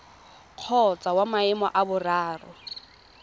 kgotsa wa maemo a boraro